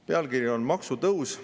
Pealkiri on "Maksutõus.